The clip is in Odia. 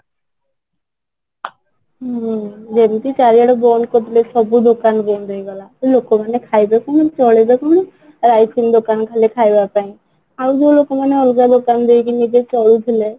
ହୁଁ ଯେମିତି ଚାରିଆଡେ ବନ୍ଦ କରିଦେଲେ ସବୁ ଦୋକାନ ବନ୍ଦ ହେଇଗଲା ତ ଲୋକ ମାନେ ଖାଇବେ କଣ ଚଳିବେ କଣ ଦୋକାନ ଖାଲି ଖାଇବା ପାଇଁ ଆଉ ଯୋଉ ଲୋକ ମାନେ ଅଲଗା ଦୋକାନ ଦେଇକି ନିଜେ ଚଳୁଥିଲେ